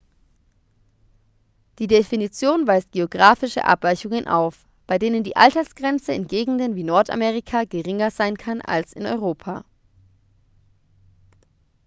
die definition weist geografische abweichungen auf bei denen die altersgrenze in gegenden wie nordamerika geringer sein kann als in europa